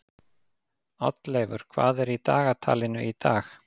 Oddleifur, hvað er í dagatalinu í dag?